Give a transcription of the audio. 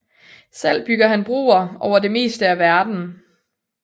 Selv bygger han broer over det meste af verden